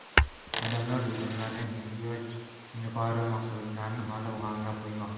Odamlar do‘konlardan ehtiyoj yuqori mahsulotlarni olib, g‘amlab qo‘ymoqda.